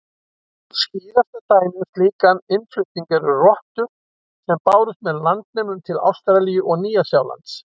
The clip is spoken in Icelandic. Skýrasta dæmið um slíkan innflutning eru rottur sem bárust með landnemum til Ástralíu og Nýja-Sjálands.